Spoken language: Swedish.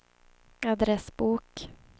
adressbok